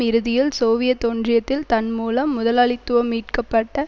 இறுதியில் சோவியத் ஒன்றியத்தில் தன் மூலம் முதலாளித்துவம் மீட்கப்பட்ட